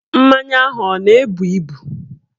Mmanya ahụ ọ na-ebu ebu?